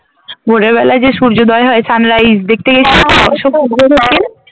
ভোরের বেলায় যে সূর্যোদয় হয় Sunrise দেখতে গেছি